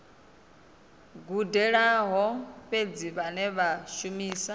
gudelaho fhedzi vhane vha shumisa